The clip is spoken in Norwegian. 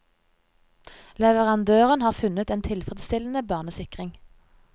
Leverandøren har funnet en tilfredsstillende barnesikring.